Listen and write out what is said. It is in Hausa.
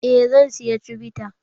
Eh zan siya cibita.